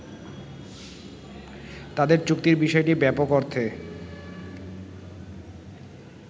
তাদের চুক্তির বিষয়টি ব্যাপক অর্থে